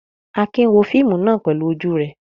Akin wo fíímù náà pẹlú ojú rẹ̀.